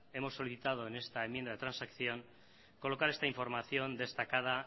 hemos solicitado en esta enmienda de transacción colocar esta información destacada